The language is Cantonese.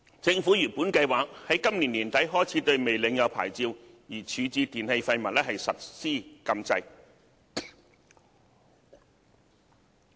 政府原本計劃在今年年底開始對未領有牌照而處置電器廢物實施禁制。